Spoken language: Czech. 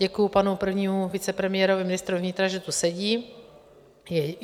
Děkuji panu prvnímu vicepremiérovi, ministrovi vnitra, že tu sedí .